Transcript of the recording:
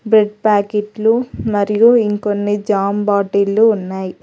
Bread ప్యాకెట్లు మరియు ఇంకొన్ని జాం బాటిల్ ఉన్నాయి.